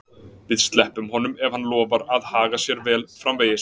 Við sleppum honum ef hann lofar að haga sér vel framvegis.